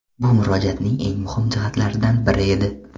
Bu Murojaatning eng muhim jihatlaridan biri edi.